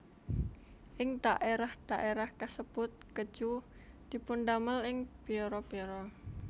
Ing dhaérah dhaérah kasebut kèju dipundamel ing biara biara